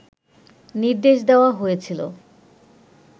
নির্দেশ দেয়া হয়েছিল